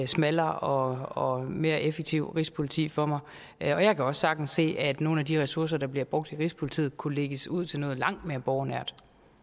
smallere og og mere effektivt rigspoliti for mig og jeg kan også sagtens se at nogle af de ressourcer der bliver brugt i rigspolitiet kunne lægges ud til noget langt mere borgernært